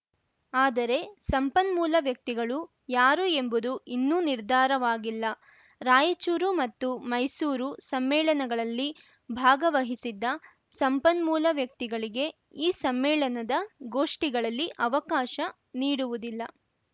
ಆದರೆ ಸಂಪನ್ಮೂಲ ವ್ಯಕ್ತಿಗಳು ಯಾರು ಎಂಬುದು ಇನ್ನೂ ನಿರ್ಧಾರವಾಗಿಲ್ಲ ರಾಯಚೂರು ಮತ್ತು ಮೈಸೂರು ಸಮ್ಮೇಳನಗಳಲ್ಲಿ ಭಾಗವಹಿಸಿದ್ದ ಸಂಪನ್ಮೂಲ ವ್ಯಕ್ತಿಗಳಿಗೆ ಈ ಸಮ್ಮೇಳನದ ಗೋಷ್ಠಿಗಳಲ್ಲಿ ಅವಕಾಶ ನೀಡುವುದಿಲ್ಲ